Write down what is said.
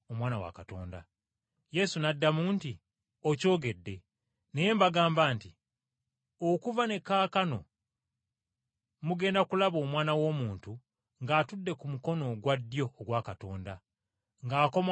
Yesu n’addamu nti, “Okyogedde. Naye mbagamba nti, okuva ne kaakano mugenda kulaba Omwana w’Omuntu ng’atudde ku mukono ogwa ddyo ogwa Katonda, ng’akomawo ku bire eby’eggulu.”